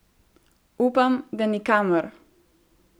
Upam, da nikamor!